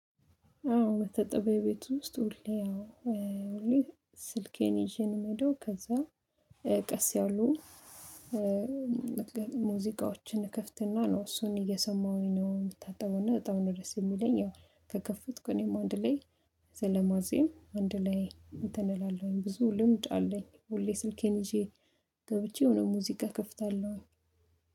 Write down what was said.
አዎ መታጠቢያ ቤት ውስጥ ሁሌ ስልኬን ይዤ ነው የምሄደው። ከዛ ቀስ ያሉ ሙዚቃዎችን እክፍትና ነው እሱን እየሰማሁኝ ነው የምታጠበው እና በጣም ነው ደስ የሚለኝ። ያው ከከፍትኩ እኔም አንድ ላይ ዘለማዜም አንድ ላይ እንትን እላለሁኝ ብዙ ልምድ አለኝ። ሁሌ ስልኬን ይዤ ገብቼ የሆነ ሙዚቃ እከፍታለሁ።